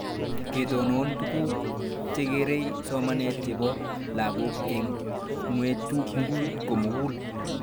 Ketonon tuguk chekerei somanet chepo lakok eng' ng'weng'ut komugul